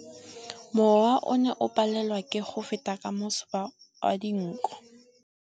Mowa o ne o palelwa ke go feta ka masoba a dinko.